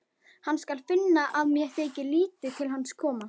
Hann skal finna að mér þykir lítið til hans koma.